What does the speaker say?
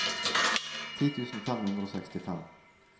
ti tusen fem hundre og sekstifem